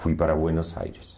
Fui para Buenos Aires.